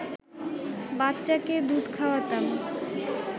বাচ্চাকে দুধ খাওয়াতাম